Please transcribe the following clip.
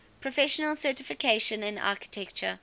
professional certification in architecture